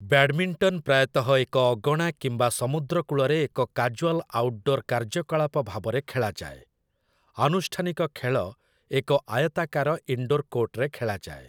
Badminton ପ୍ରାୟତଃ ଏକ ଅଗଣା କିମ୍ବା ସମୁଦ୍ର କୂଳରେ ଏକ କାଜୁଆଲ୍ ଆଉଟଡୋର୍ କାର୍ଯ୍ୟକଳାପ ଭାବରେ ଖେଳାଯାଏ; ଆନୁଷ୍ଠାନିକ ଖେଳ ଏକ ଆୟତାକାର ଇନଡୋର୍ କୋର୍ଟରେ ଖେଳାଯାଏ ।